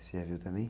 Você já viu também?